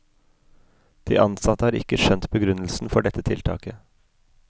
De ansatte har ikke skjønt begrunnelsen for dette tiltaket.